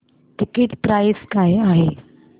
ticket price काय आहे